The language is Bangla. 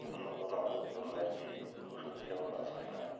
নতুন নতুন ওষুধ খেয়েও কাজ হয় না,